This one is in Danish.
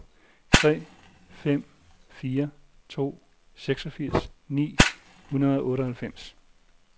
tre fem fire to seksogfirs ni hundrede og otteoghalvfems